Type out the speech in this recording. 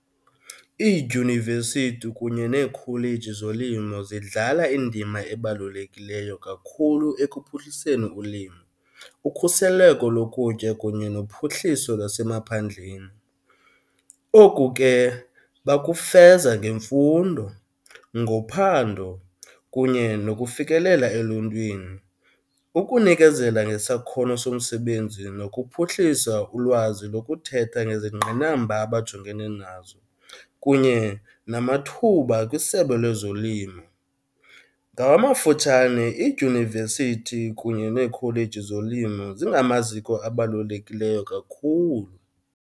Iidyunivesithi kunye neekholeji zolimo zidlala indima ebalulekileyo kakhulu ekuphuhliseni ulimo, ukhuseleko lokutya kunye nophuhliso lwasemaphandleni. Oku ke bakufeza ngemfundo, ngophando kunye nokufikelela eluntwini, ukunikezela ngesakhono somsebenzi nokuphuhlisa ulwazi lokuthetha ngezingqinamba abajongene nazo kunye namathuba kwisebe lezolimo. Ngamafutshane iidyunivesithi kunye neekholeji zolimo zingamaziko abalulekileyo kakhulu.